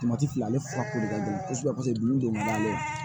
fila ale furako de ka gɛlɛn kosɛbɛ paseke dun de bɛ n'ale